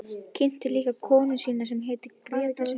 Kynnti líka konu sína sem hét Gréta Sveinsdóttir.